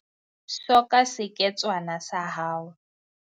Soka seketswana sa hao.